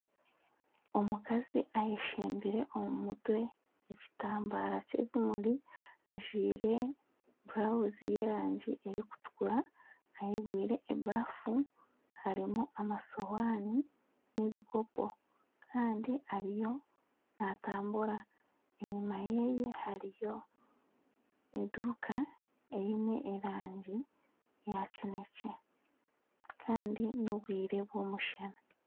Omukazi ayeshembire ekitambara omu mutwe ekitambara ky'ebimuri ajwaire burawuzi y'erangi erikutukura ayegwire ebaafu harimu amasuuhani n'ebikopo kandi ariyo naatambura enyima yeeye hariyo eduuka eine erangi yakinekye kandi n'obwire bw'omushana.